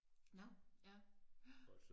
Nå ja